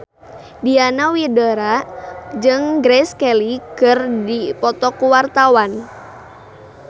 Diana Widoera jeung Grace Kelly keur dipoto ku wartawan